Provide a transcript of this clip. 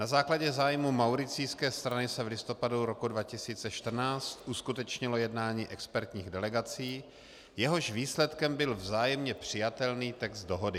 Na základě zájmu Mauricijské strany se v listopadu roku 2014 uskutečnilo jednání expertních delegací, jehož výsledkem byl vzájemně přijatelný text dohody.